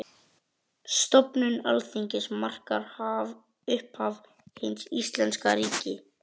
Stofnun Alþingis markar upphaf hins íslenska ríkis.